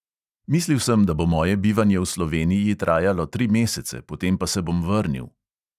Mislil sem, da bo moje bivanje v sloveniji trajalo tri mesece, potem pa se bom vrnil.